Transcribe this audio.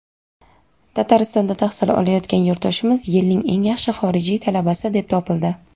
Tataristonda tahsil olayotgan yurtdoshimiz "Yilning eng yaxshi xorijiy talabasi" deb topildi!.